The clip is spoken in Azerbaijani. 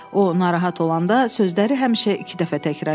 O narahat olanda sözləri həmişə iki dəfə təkrar eləyirdi.